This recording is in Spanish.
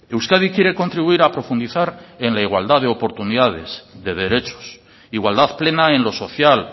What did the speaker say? euskadi quiere contribuir a profundizar en la igualdad de oportunidades de derechos igualdad plena en lo social